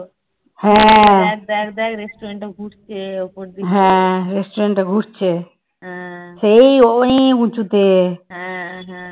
হ্যাঁ হ্যাঁ